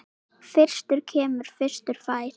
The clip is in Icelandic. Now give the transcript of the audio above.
Fyrstur kemur, fyrstur fær.